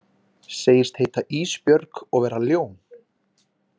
Segist heita Ísbjörg og vera ljón.